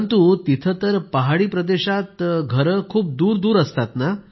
परंतु तिथं तर पहाडी प्रदेशात खूप दूरदूर घरं असतात